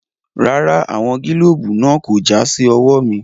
Rárá, àwọn gílóòbù náà kò já sí ọwọ́ mi.